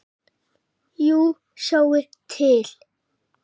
Jú, sjáið til.